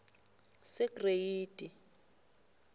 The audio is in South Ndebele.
segreyidi